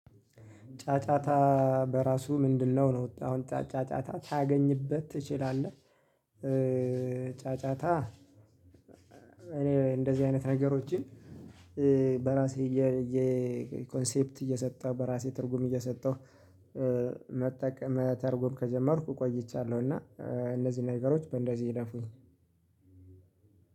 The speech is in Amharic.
ጫጫታ በራሱ ምንድነው? ነው አሁን ጫጫታ ታገኝበት ትችላለህ። ጫጫታ እኔ እንደዚህ አይነት ነገሮችን በራሴ እየ ኮንሴፕት እየሰጠሁ በራሴ ትርጉም እየሰጠሁ መተርጎም ከጀመርኩ ቆይቻለሁና። እነዚህ ነገሮች በእንደዚህ የደፉኝ